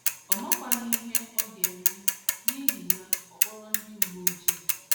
Ọ makwaghị ihe makwaghị ihe ọ ga - eme, n’ihi ya ọ kpọrọ ndị uwe ojii.